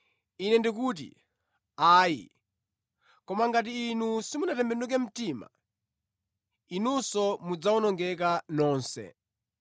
Ine ndikuti, ayi! Koma ngati inu simutembenuka mtima, inunso mudzawonongeka nonse.”